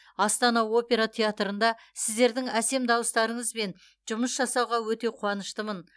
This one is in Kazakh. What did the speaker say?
астана опера театрында сіздердің әсем дауыстарыңызбен жұмыс жасауға өте қуаныштымын